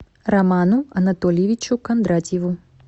роману анатольевичу кондратьеву